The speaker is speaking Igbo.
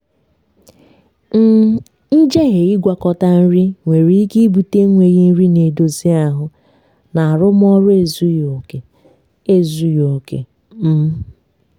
um njehie ịgwakọta nri nwere ike ibute enweghị nri na-edozi ahụ na arụmọrụ ezughi oke ezughi oke um